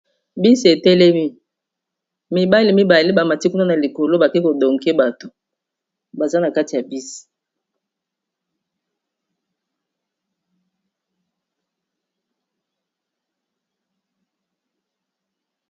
bisi etelemi mibale mibale bamati kuna na likolo bake kodonke bato baza na kati ya bis